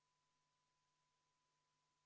Proua Helme, selgitust pole kodukorra järgi vaja esitada.